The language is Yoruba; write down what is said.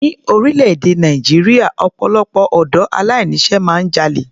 Ní orílẹ̀-èdè Nàìjíríà, ọpọ̀lọpọ̀ ọ̀dọ́ aláìní iṣẹ́ máa ń jalè.